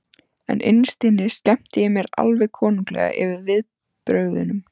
En innst inni skemmti ég mér alveg konunglega yfir viðbrögðunum.